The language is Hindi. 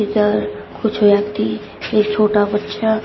कुछ व्यक्ति एक छोटा बच्चा--